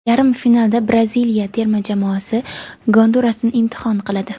Yarim finalda Braziliya terma jamoasi Gondurasni imtihon qiladi.